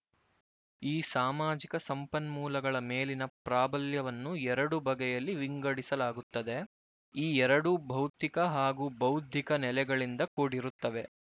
ಈ ಸಾಮಾಜಿಕ ಸಂಪನ್ಮೂಲಗಳ ಮೇಲಿನ ಪ್ರಾಬಲ್ಯವನ್ನು ಎರಡು ಬಗೆಯಲ್ಲಿ ವಿಂಗಡಿಸಲಾಗುತ್ತದೆ ಈ ಎರಡೂ ಭೌತಿಕ ಹಾಗೂ ಬೌದ್ಧಿಕ ನೆಲೆಗಳಿಂದ ಕೂಡಿರುತ್ತವೆ